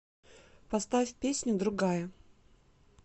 поставь песню другая